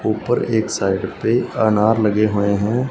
ऊपर एक साइड पे अनार लगे हुए हैं।